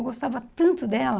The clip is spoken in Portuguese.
Eu gostava tanto dela...